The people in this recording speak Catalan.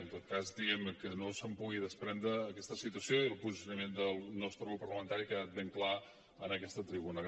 en tot cas diguem ne que no se’n pugui desprendre aquesta situació i el posicionament del nostre grup parlamentari ha quedat ben clar en aquesta tribuna